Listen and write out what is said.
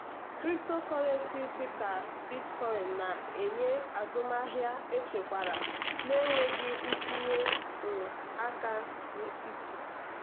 cryptocurrency dị ka bitcoin na-enye azụmahịa echekwara na-enweghị itinye um aka n'etiti.